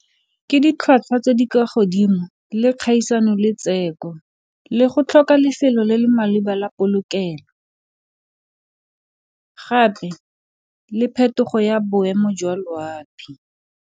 Ke ditlhwatlhwa tse di kwa godimo le kgaisano le le go tlhoka lefelo le le maleba la polokelo, gape le phetogo ya boemo jwa loapi.